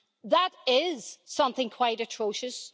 That is something quite atrocious.